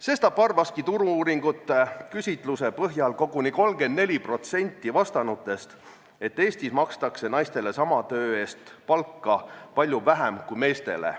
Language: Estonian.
Sestap arvaski Turu-uuringute AS-i küsitluse põhjal koguni 34% vastanutest, et Eestis makstakse naistele sama töö eest palju vähem palka kui meestele.